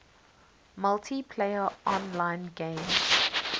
multiplayer online games